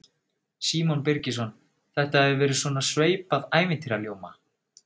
Símon Birgisson: Þetta hefur verið svona sveipað ævintýraljóma?